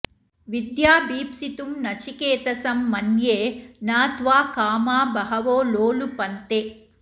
विद्याभीप्सितुं नचिकेतसं मन्ये न त्वा कामा बहवो लोलुपन्ते